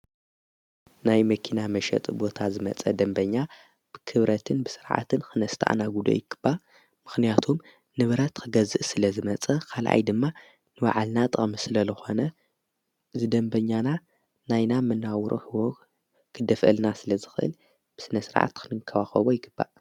ናይ መኪና መሸጥ ቦታ ዝመጸ ደንበኛ ብክብረትን ብሥርዓትን ኽነስትኣናጕዱ ይግባእ። ምኽንያቱም ንብረት ኸገዝእ ስለ ዝመጸ ኻልኣይ ድማ ንባዕልና ጥቅሚ ስለ ዝኾነ እዚ ደንበኛናና ናይና ምናብሮ እውን ክደፍአልና ስለ ዝኽእል ብስነ ሥርዓት ኽንንከባከቦ ይግባ።